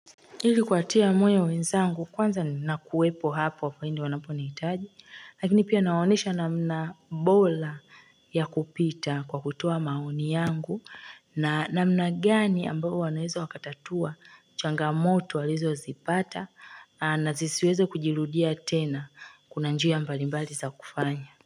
Ili kuwatia moyo wenzangu kwanza nakuwepo hapo pindi wanaponihitaji Lakini pia nawaonyesha namna bora ya kupita kwa kutoa maoni yangu na na namna gani ambayo wanaweza wakatatua changamoto walizozipata na zisiweze kujirudia tena kuna njia mbalimbali za kufanya.